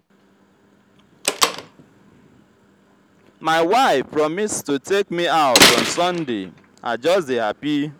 my wife promise to take me out on sunday. i just dey happy.